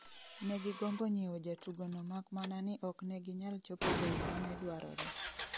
Negigombo nyieo jatugo no mak mana ni okneginyal chopo bei mane dwarore